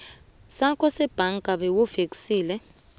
sakho sebhanka bewufeksele